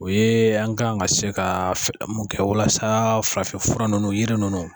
O ye an kan ka se ka mun kɛ walasa farafinfura nunnu yiri ninnu